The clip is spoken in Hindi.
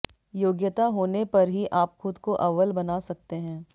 योग्यता होने पर ही आप खुद को अव्वल बना सकते हैं